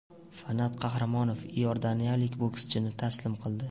Fanat Qahramonov iordaniyalik bokschini taslim qildi.